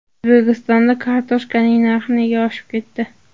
O‘zbekistonda kartoshkaning narxi nega oshib ketdi?.